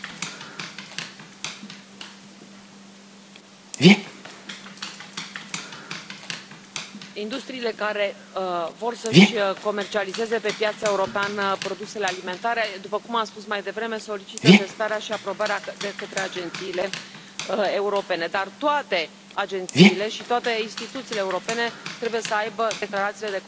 Domnule președinte, industriile care vor să își comercializeze pe piața europeană produsele alimentare, după cum am spus mai devreme, solicită testarea și aprobarea de către agențiile europene, dar toate agențiile și toate instituțiile europene trebuie să aibă declarațiile